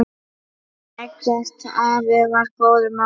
Eggert afi var góður maður.